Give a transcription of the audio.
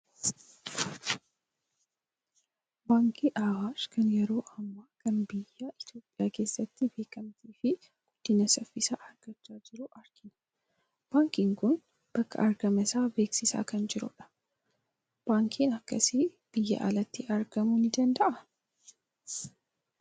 Baankii Awaash kan yeroo ammaa kana biyya Itoophiyaa keessatti beekamtii fi guddina saffisaa argachaa jiru argina. Baankiin kun bakka argama isaa beeksisaa kan jiru dha. Baankiin akkasii Biyyaan alatti argamuu ni danda'aa?